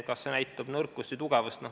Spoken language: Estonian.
Kas see näitab nõrkust või tugevust?